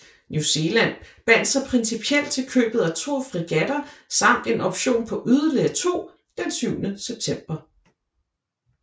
New Zealand bandt sig principielt til købet af to fregatter samt en option på yderligere to den syvende september